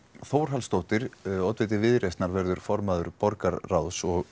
Þórhallsdóttir oddviti Viðreisnar verður formaður borgarráðs og